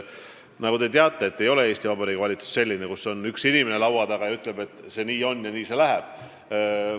Nagu te teate, siis Eesti Vabariigi valitsus ei ole selline, et laua taga on üks inimene, kes ütleb: nii see on ja nii see läheb.